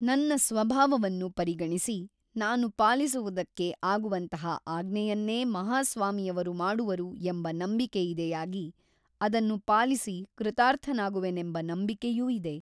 ನನ್ನ ಸ್ವಭಾವವನ್ನು ಪರಿಗಣಿಸಿ ನಾನು ಪಾಲಿಸುವುದಕ್ಕೆ ಆಗುವಂತಹ ಆಜ್ಞೆಯನ್ನೇ ಮಹಾಸ್ವಾಮಿಯವರು ಮಾಡುವರು ಎಂಬ ನಂಬಿಕೆಯಿದೆಯಾಗಿ ಅದನ್ನು ಪಾಲಿಸಿ ಕೃತಾರ್ಥನಾಗುವೆನೆಂಬ ನಂಬಿಕೆಯೂ ಇದೆ.